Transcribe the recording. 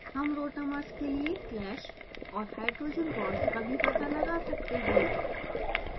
हम rotamers के लिए clash और hydrogen bonds का भी पता लगा सकते हैं